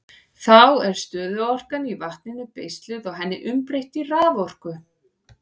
Þá er stöðuorkan í vatninu beisluð og henni umbreytt í raforku.